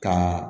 Ka